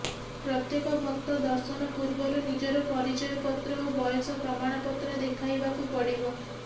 ପ୍ରତ୍ୱେକ ଭକ୍ତ ଦର୍ଶନ ପୂର୍ବରୁ ନିଜର ପରିଚୟପତ୍ର ଓ ବୟସ ପ୍ରମାଣପତ୍ର ଦେଖାଇବାକୁ ପଡ଼ିବ